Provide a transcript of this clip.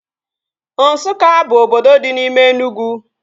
Nsukka bụ obodo dị n'ime Enugwu